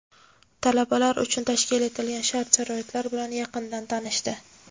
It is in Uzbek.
talabalar uchun tashkil etilgan shart-sharoitlar bilan yaqindan tanishdi.